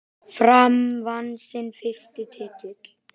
Fram vann sinn fyrsta titil.